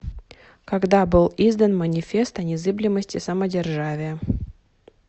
когда был издан манифест о незыблемости самодержавия